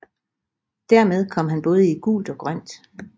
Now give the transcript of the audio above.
Dermed kom han både i gult og grønt